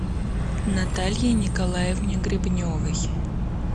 наталье николаевне гребневой